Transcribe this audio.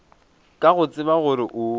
ka go tseba gore o